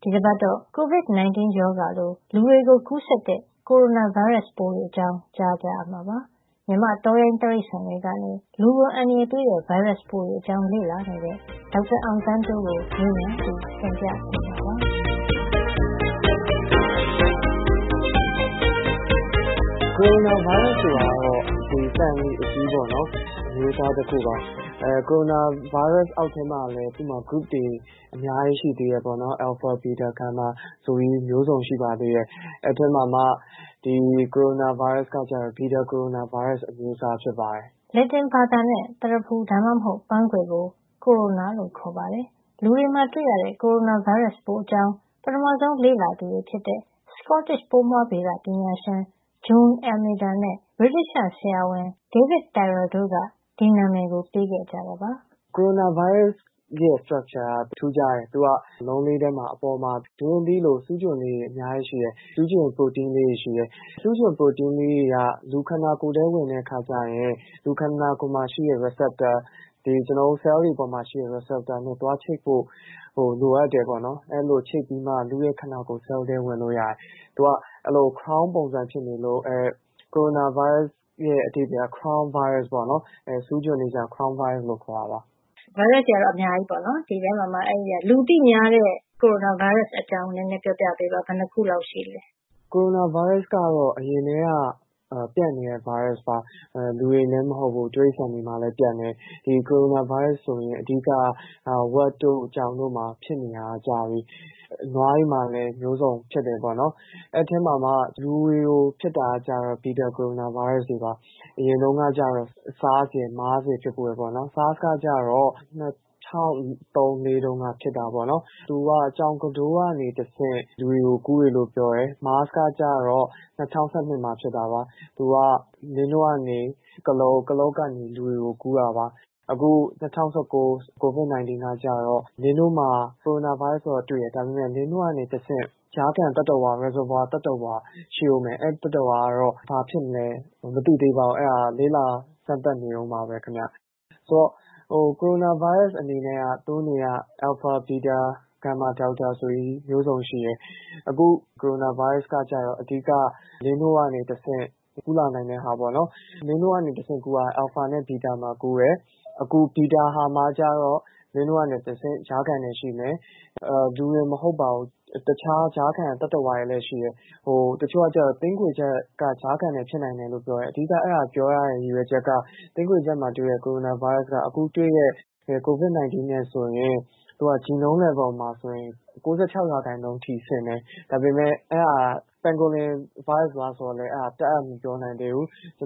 ဒီတပတ်တော့ Covid 19 ရောဂါ လို လူတွေကို ကူးစက်တဲ့ ကိုရိုနာဗိုင်းရပ်စ်ပိုးတွေအကြောင်း ကြားကြရမှာပါ။ မြန်မာ့တောရိုင်းတိရိစ္ဆာန်တွေကနေ လူကိုအန္တရာယ်ပေးတဲ့ ဗိုင်းရပ်စ်တွေ အကြောင်းလေ့လာနေတဲ့ ဒေါက်တာအောင်သန်းတိုးကို မေးမြန်းပြီး တင်ပြပေးမှာပါ။ “ကိုရိုနာဗိုင်းရပ်စ် ဆိုတာက မျိုးစိတ်အကြီးပေါ့နော်။ ။ကိုရိုနာဗိုင်းရပ်စ်က အမျိုးစားတခုပါ။ ကိုရိုနာဗိုင်းရပ်စ် အောက်မှာလည်း group အုပ်စုခွဲထားတာ အများကြီးရှိပါတယ်။ အယ်လ်ဖာ၊ ဘီတာ၊ ဂါမာ၊ ဒယ်လ်တာ ဆိုပြီး၊ အများကြီးရှိပါသေးတယ်။ အဲဒီထဲမှာ အခု ပြောမယ့် ကိုရိုနာဗိုင်းရပ်စ်က တော့ ဘီတာ ကိုရိုနာဗိုင်းရပ် အမျိုးအစား ဖြစ်ပါတယ်။” လက်တင်ဘာသာနဲ့ သရဖူ ဒါမှမဟုတ် ပန်းခွေပုံသဏ္ဍာန်ကို corona ကိုရိုနာ လို့ ခေါ်ပါတယ်။ လူတွေမှာ တွေ့ရတဲ့ ကိုရိုနာဗိုင်းရပ်စ်ပိုးအကြောင်း ပထမဆုံး လေ့လာသူတွေဖြစ်တဲ့ Scottish ပိုးမွှားဗေဒပညာရှင် June Dalziel Almeida နဲ့ ဗြိတိသ ျှဆရာဝန် Davi d Arthur John Tyrrell တို့ က ဒီနံမယ်ကို ပေးခဲ့ကြတာပါ။ “ကိုရိုနာဗိုင်းရပ်စ်ရဲ့ structureပုံသဏ္ဍာန်က ထူးခြားတယ်။ သူက အလုံးလေးထဲမှာ အပေါ်မှာ သူက ဒူးရင်းသီးလို ဆူးချွန်လေးတွေ အများကြီးရှိတယ်။ ဒီဆူးချွန် ပရိုတိန်းကလေးတွေ၊ အဲဒါတွေက လူရဲ့ ခန္ဓာကိုယ်ထဲဝင်သွားရင်၊ လူခန္ဓာကိုယ်မှာရှိတဲ့receptor ၊ ဒီ ကျွန်တော်တို့ ဆဲလ်တွေမှာ ရှိတဲ့ receptor နဲ့သွားချိတ်ဖို့ လိုအပ်တယ်ပေါ့။ အဲဒီလို ချိတ်ပြီးမှ လူ့ရဲ့ ခန္ဓာကိုယ် ဆဲလ် ထဲ ဝင်လို့ရတယ်။ သူက သရဖူ- crown ပုံရှိနေလို့။ အဲဒီကိုရိုနာဗိုင်းရပ်စ် ရဲ့ အဓိပ္ပါယ်က crown virus ပေါ့နော်။ အဲဒီဆူးချွန်လေးတွေကြောင့် ခေါ်တာပါ။ “လူသိများတဲ့ လူတွေမှာတွေ့ရတဲ့ ကိုရိုနာဗိုင်းရပ်စ် အကြောင်းပြောပြပေးပါ။ ဘယ်နှစ်ခုလောက် ရှိပါသလဲ။” “ကိုရိုနာဗိုင်းရပ်စ်ကတော့ အရင်ကတည်းက ပြန့်နေတဲ့ ဗိုင်းရပ်စ်ပါ။ လူတွေတင်မဟုတ်ပါဘူး။ တိရိစ္ဆာန်တွေမှာလည်း ပြန့်တယ်။ ဒီကိုရိုနာဗိုင်းရပ်စ် ဆိုရင် အဓိကက ဝက်တို့၊ ကြောင်တို့မှာ ဖြစ်နေတာက ကြာပြီ။ ဒီဝက်တွေမှာ ဆိုလို့ရှိရင် ဝမ်းရောဂါဖြစ် နေတဲ့ ရောဂါတွေ ရှိတယ်။ နွားတွေမှာလည်း အမျိုးစုံ ဖြစ်တယ်ပေါ့နော်။ အဲဒီထဲမှာမှ ကျနော်တို့လူတွေမှာ ဖြစ်တာက ကျတော့ ဘီတာကိုရိုနာဗိုင်းရပ်စ်တွေပါ။ အရင်တုန်းကတော့ SARS ဆားစ်တွေ MARS မားစ်တွေ ဖြစ်ဖူးတယ်ပေါ့။ ဆားစ်ကကျတော့ ၂၀၀၃- ၄ ကဖြစ်တာပေါ့နော်။ အဲဒီတုန်းကတော့ သူက ကြောင်ကတိုးကနေ တဆင့် လူတွေကို ကူးတယ်လို့ ပြောတယ်။ မားစ်ကကျတော့ ၂၀၁၂ မှာ ဖြစ်တာပါ။ သူက လင်းနို့ကနေ ကုလားအုပ်၊ ကုလားအုပ်ကနေ လူတွေကို ကူးတာပါ။ အခုဒီ ၂၀၁၉ Covid 19 ကကျတော့ လင်းနို့မှာ ကိုရိုနာဗိုင်းရပ်စ် ကတော့ တွေ့တယ်။ ဒါပေမယ့် လင်းနို့ကနေ တဆင့် ကြားခံ သတ္တဝါ reservoir သတ္တဝါ ရှိဖို့နဲ့ အဲဒီသတ္တဝါက ဘာဖြစ်မလဲ မသိသေးပါဘူး။ အဲဒါကို လေ့လာစမ်းသပ်နေတုန်းပါပဲ ခင်ဗျ။ ကိုရိုနာဗိုင်းရပ်စ် အနေနဲ့က အယ်လ်ဖာ၊ ဘီတာ၊ ဂါမာ၊ ဒယ်လ်တာ ဆိုပြီး မျိုးစုံရှိတယ်။ အခု ဖြစ်နေတဲ့ ကိုရိုနာဗိုင်းရပ်စ် ကကျတော့ အဓိက လင်းနို့ကနေ တဆင့် ကူးလာနိုင်တဲ့ဟာပေါ့နော်။ လင်းနို့ကနေ တဆင့်ကူးတာက အယ်လ်ဖာနဲ့ ဘီတာမှာ ကူးတယ်။ အခု ဘီတာမှာ ကျတော့ လင်းနို့ကနေ တဆင့် ကြားခံနယ် ရှိမယ်။ ကြားခံက လူတင်မကဘူး၊ တခြား ကြားခံ သတ္တဝါတွေလည်း ရှိတယ်။ အခုဆိုဘယ်လို ပြောနေကြလဲ ဆိုတော့ တချို့ကသင်းခွေချပ်က ကြားခံနယ် ဖြစ်နိုင်တယ်လို့ ပြောတယ်။ အဲဒီလို ပြောကြတဲ့ အဓိက ရည်ရွယ်ချက်က သင်းခွေချပ်မှာ တွေ့ရတဲ့ ကိုရိုနာဗိုင်းရပ်စ်က အခု တွေ့တဲ့ Covid 19 နဲ့ဆိုရင် သူက genome level အဆင့်မှာ ဆိုရင် ၉ ၆ % အထိ ဆင်တယ်။ ဒါပေမဲ့ အဲဒါသင်းခွေချပ်က ဗိုင်းရပ်စ်လားဆိုတာတပ်အပ် မပြောနိုင်သေးဘူး။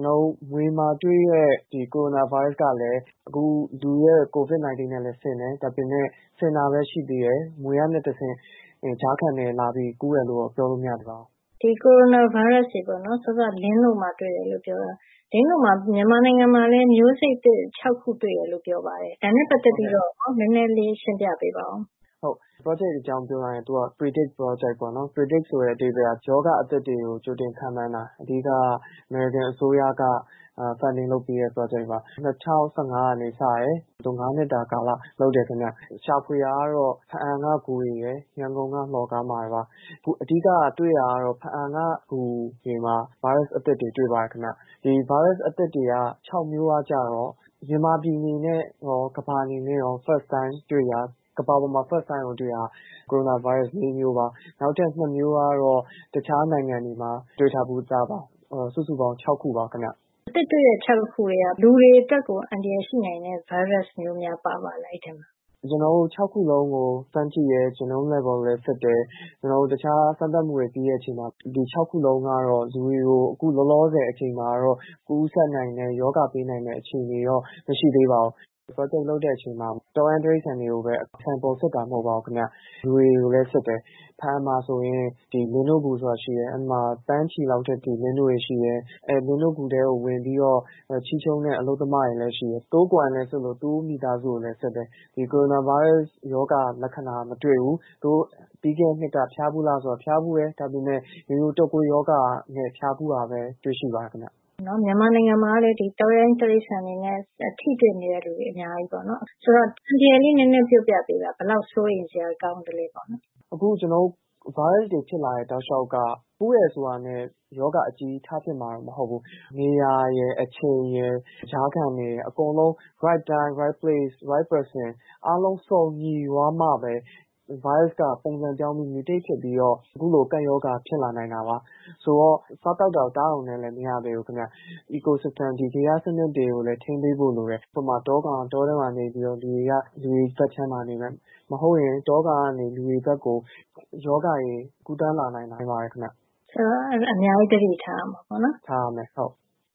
မြွေမှာ တွေ့တဲ့ ကိုရိုနာဗိုင်းရပ်စ်ကလည်းအခု လူမှာ ဖြစ်တဲ့ Covid 19 နဲ့ဆင်တယ်။ ဆင်တာပဲ ရှိတယ်၊ မြွေကနေ တဆင့် ကြားခံနယ်ဖြစ်ပြီး လာပြီးတော့ ကူးတယ် လို့တော့ ပြောလို့ မရသေးပါဘူး။ “ကိုရိုနာဗိုင်းရပ်စ်ကို လင်းနို့မှာ တွေ့ရတယ် ဆိုတော့၊ မြန်မာနိုင်ငံမှာလည်း လင်းနို့မှာ ဒီဗိုင်းရပ်စ် မျိုးစိတ်သစ် ၆ ခု တွေ့တယ်လို့ ပြောပါတယ်။ ဒါနဲ့ ပတ်သက်ပြီး နဲနဲ ရှင်းပြပေးပါ။” “ဟုတ်ကဲ့ အဲဒီ ပရောဂျက် အကြောင်း ပြောရရင် သူက predict project ပေါ့ predict ဆိုတဲ့ သဘောက ရောဂါအသစ်တွေကို ကြိုတင်ပြီးတော့ ခန့်မှန်းတာ။ အဓိက ကတော့ အမေရိကန်အစိုးရက funding လုပ်ပေးတဲ့ ပရောဂျက်ပါ။ ၂၀၁၅ က စတယ်။ ၅ နှစ်တာ ကာလလုပ်တယ်ခင်ဗျ။ ရှာဖွေတာကတော့ ဖားအံက ဂူတွေရယ်၊ ရန်ကုန်က လှော်ကားမှာပါ။ အဓိက တွေ့တာကတော့ ဖားအံက ဂူတွေမှာ ဗိုင်းရပ်စ် အသစ်တွေ တွေ့ပါတယ်ခင်ဗျ။ ဒီဗိုင်းရပ်စ် အသစ် ၆ မျိုးက ကျတော့ မြန်မာပြည်အနေနဲ့ ရော ကမ္ဘာအနေနဲ့ရော ပထမဦးဆုံး တွေ့တာ။ ကမ္ဘာပေါ်မှာ first time ကိုတွေ့တာက ကိုရိုနာဗိုင်းရပ်စ် ၄ မျိုးပါ။ နောက်ထပ် ၂ မျိုးကတော့ တခြားနိုင်ငံတွေမှာ တွေ့ထား ပြီးသားပါ။ စုစုပေါင်းက ၆ ခုပါခင်ဗျ။” “အသစ်တွေ့တဲ့ ၆ ခု ထဲက လူတွေ အတွက် အန္တရာယ်ရှိတဲ့ ဗိုင်းရပ်စ် မျိုးများ ပါပါသလား အဲဒီအထဲမှာ။” “ကျနော်တို့ ၆ ခု စလုံးကို စမ်းကြည့်တယ်။မျိုးဗီဇ genome level စစ်တယ်။ ကျနော်တို့ တခြားစမ်းသပ်မှုတွေပါ ပြီးတဲ့အခါ ဒီ ၆ ခုစလုံးက လူတွေကို အခုလောလောဆယ် အချိန် မှာတော့ ကူးစက်နိုင်တဲ့ ရောဂါ ပေးနိုင်တဲ့ အခြေနေမှာ တော့ မရှိသေးပါဘူး။ ပရောဂျက် လုပ်တဲ့ အချိန်မှာ တောရိုင်းတိရိစ္ဆာန်တွေကိုပဲ sample နမူနာ စစ်တာမဟုတ်ပါဘူးခင်ဗျ။ လူတွေကိုလည်း စစ်ပါတယ်။ ဖားအံမှာ ဆိုရင် လင်းနို့ဂူဆိုတာ ရှိတယ်။ အဲဒီမှာ သန်းချီတဲ့ လင်းနို့တွေရှိတယ်။ ဒီလင်းနို့ဂူထဲမှာ လင်းနို့ချေးကောက်တဲ့ အလုပ်သမတွေလည်း ရှိတယ်။ ဒီအလုပ်သမားတွေကို စစ်သလို သူတို့ရဲ့ မိသားစုတွေကိုပါ စစ်ပါတယ်။ ဒီကိုရိုနာဗိုင်းရပ်စ်ရောဂါ မတွေ့ဘူး။ ပြီးခဲ့တဲ့နှစ်က ဖျားဖူးလားမေးတော့ ဖျားဖူးတယ်။ ဒါပေမယ့် ရိုးရိုးတုတ်ကွေးရောဂါနဲ့ ဖျားဖူးတာပဲ တွေ့ပါတယ်ခင်ဗျ။” “မြန်မာနိုင်ငံမှာ တောရိုင်းတိရစ္ဆာန်တွေကို စားသောက်တာနဲ့ သူတို့ကို ထိတွေ့နေရတဲ့ သူက အများကြီးပါ။ ဒါကြောင့် အန္တရာယ်ကို နဲနဲ ပြောပြပေးပါ။ ဘယ်လောက် စိုးရိမ်စရာ ကောင်းသလဲဆိုတာ။” “အခု ကျနော်တို့ ဗိုင်းရပ်စ်တွေ ဖြစ်လာတဲ့ တောက်လေ ျှာက်က ကူးတယ်ဆိုတာနဲ့ ရောဂါအကြီးကြီး ထဖြစ်မှာတော့ မဟုတ်ပါဘူး။ နေရာရယ်၊ အချိန်ရယ်၊ ကြားခံတွေရယ်၊ အကုန်လုံး သူ့ဟာနဲ့သူ right time- right place – right person အချိန်၊ နေရာ၊ လူသင့်တော်တာ အားလုံးစုံညီသွားတော့မှပဲ ဗိုင်းရပ်စ်က ပုံစံပြောင်းပြီး mutate ဖြစ်ပြီးတော့ အခုလို ကပ်ရောဂါ ဖြစ်လာနိုင်တာပါ။ ဆိုတော့ စားတာ သောက်တာကို ဆင်ခြင်ရုံနဲ့ ပြီးတာ မဟုတ်ပါဘူး ခင်ဗျ။ ecosystem ဂေဟစံနစ်တွေကိုလည်း ထိန်းသိမ်းဖို့ လိုပါတယ်။ ဥပမာ တောကောင်က တောထဲမှာ နေပြီးတော့ လူတွေက လူတွေ ဘက်ခြမ်းမှာ နေမယ်။ မဟုတ်ရင် တောကောင်ကနေ လူတွေဘက်ကို ရောဂါတွေ ကူးသန်းလာနိုင်ပါတယ်ခင်ဗျ။” “ဆိုတော့ အများကြီး သတိထားရမှာ ပေါ့နော်” “ဟုတ်ပါတယ်။“ “စော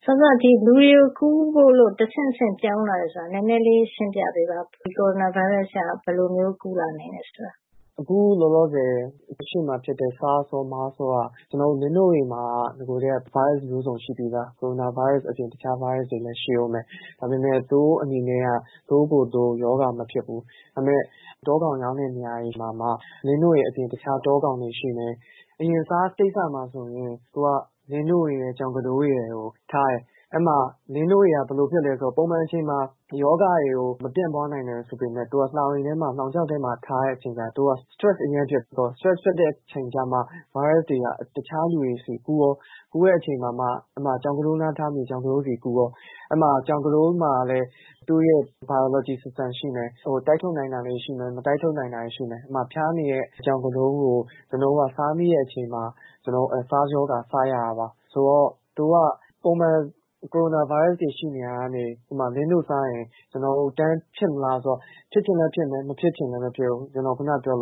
စောက လူတွေကို ကူးဖို့လို့ တဆင့်တဆင့် ပြောင်းလာတယ် ဆိုတာ နဲနဲ ရှင်းပြပေးပါ။ ဒီကိုရိုနာဗိုင်းရပ်စ်ပိုးက ဘယ်လိုမျိုး ကူးလာနိုင်တယ် ဆိုတာ။” “အခု လောလောဆယ် အရှေ့မှာ ဖြစ်သွားတဲ့SARS / MARS ဆားစ် ရော မားစ်ရောက ပြောရရင်၊ လင်းနို့တွေမှာက နဂိုကတည်းက ဗိုင်းရပ်စ် မျိုးစုံ ရှိပြီးသား။ ကိုရိုနာဗိုင်းရပ်စ် အပြင် တခြားဗိုင်းရပ်စ်တွေလည်း ရှိအုံးမယ်။ ဒါပေမယ့် သူတို့ အနေနဲ့က သူတို့ကိုယ် သူတို့ ရောဂါမဖြစ်စေဘူး။ ဒါပေမယ့် တောကောင်တွေ ရောင်းတဲ့ နေရာမှာ လင်းနို့အပြင် တခြား တောကောင်တွေ ရှိမယ်။ ဥပမာ SARS ဆားစ် ကိစ္စမှာ ဆိုရင် လင်းနို့ရယ် ကြောင်ကတိုး ရယ်ကို ထားတယ်။ အဲဒီမှာ လင်းနို့တွေက ဘယ်လို ဖြစ်သလဲ ဆိုတော့ ပုံမှန်အချိန်မှာ ဆိုရင် ဒီရောဂါ တွေကို မပြန့်ပွါးနိုင်ဘူး ဆိုပေမယ့် သူက လှောင်အိမ်ထဲမှာ လှောင်ချိုင့် ထဲမှာ ထားတဲ့အချိန်ကျရင် သူက stress အရမ်းဖြစ်တယ်။ အဲဒီလို stress ဖြစ်တဲ့ အချိန်ကျမှ ဗိုင်းရပ်စ်တွေက တခြားတွေကို ကူးရော၊ ဒီလို ကူးတဲ့အချိန်မှာ ကြောင်ကတိုးနား ထားမိရင် ကြောင်ကတိုးကို ကူးရော။ အဲဒီမှာ အဲဒီ ကြောင်ကတိုးမှာလည်း သူ့ရဲ့ ဇီဝစံနစ် ရှိမယ်။ တိုက်ထုတ်နိုင်တာ ရှိသလို မတိုက်ထုတ်နိုင်တာလည်း ရှိမယ်။ အဲဒီလို ဖျားနေတဲ့ ကြောင်ကတိုးကို ကျနော်တို့က စားမိတဲ့အချိန်မှာ ကျနော်တို့ အဲဒီ SARS ဆားစ် ရောဂါ စရတာပါ။ ဆိုတော့ သူတို့က ပုံမှန် ကိုရိုနာဗိုင်းရပ်စ်တွေ ရှိနေရာ ကနေ ဥပမာ လင်းနို့စားရင် ဒီရောဂါ ဖြစ်မလား လို့မေးရင်တော့ ဖြစ်ချင်လည်း ဖြစ်မယ်၊ မဖြစ်ချင်လည်း မဖြစ်ဖူး။ ကျနော် ခုနက ပြောသလို